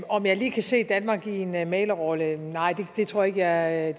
om jeg lige kan se danmark i en mæglerrolle nej det tror jeg